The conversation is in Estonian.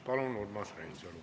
Palun, Urmas Reinsalu!